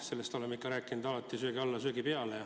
Sellest oleme alati rääkinud, söögi alla ja söögi peale.